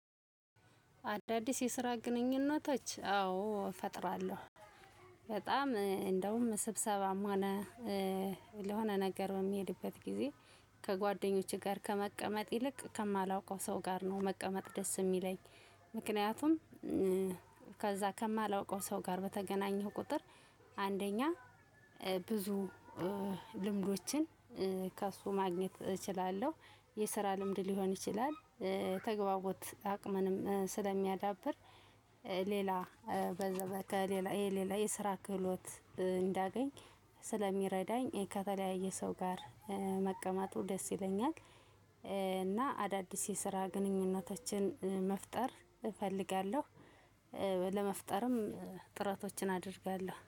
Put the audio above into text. አዳዲስ የስራ ግንኙነቶች አዎ እፈጥራለሁ። በጣም እንደውም ስብሰባም ሆነ ለሆነ ነገረ በምሄድበት ጊዜ ከጓደኞቼ ጋር ከመቀመጥ ይልቅ ከማላውቀው ሰው ጋር ነው መቀመጥ ደስ የሚለኝ። ምክንያቱም። ከዛ ከማላውቀው ሰው ጋር በተገናኘው ቁጥር። አንደኛ ብዙ ልምዶችን ከእሱ ማግኘት እችላለሁ። የስራ ልምድ ሊሆን ይችላል። ተግባቦት አቅምንም ስለሚያዳብር። ሌላ እ በዛ በከሌላ የስራ ክህሎት። እንዳገኝ ስለሚረዳኝ ከተለያየ ሰው ጋር መቀመጡ ደስ ይለኛል። እና አዳዲስ የስራ ግንኙነቶችን መፍጠር እፈልጋለሁ። ለመፍጠርም ጥረቶችን አደርጋለሁ